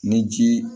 Ni ji